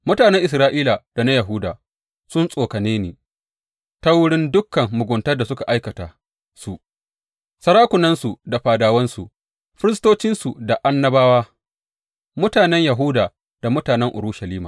Mutanen Isra’ila da na Yahuda sun tsokane ni ta wurin dukan muguntar da suka aikata su, sarakunansu da fadawansu, firistocinsu da annabawa, mutanen Yahuda da mutanen Urushalima.